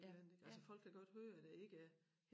Et eller andet ik altså folk kan godt høre det ikke er